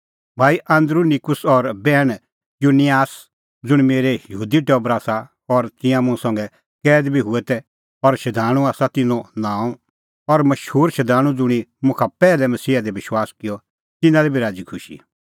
भाई आन्दरूनिकूस और बैहण यूनियास ज़ुंण मेरै यहूदी टबर आसा और तिंयां मुंह संघै कैद बी हुऐ तै और शधाणूं दी आसा तिन्नों नांअ और मशूर शधाणूं ज़ुंणी मुखा पैहलै मसीहा दी विश्वास किअ तिन्नां लै बी राज़ीखुशी